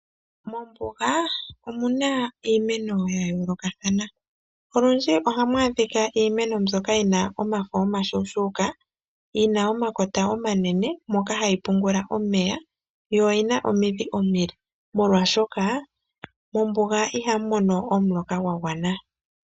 Mombuga omu na iimeno ya yoolokathana. Olundji ohamu adhika iimeno mbyoka yi na omafo omashuushuuka, yi na omakota omanene, moka hayi pungula omeya, yo oyi na omidhi omile, molwaashoka mombuga ihamu mono omuloka gwa gwana.